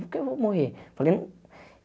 Por que eu vou morrer? Falei um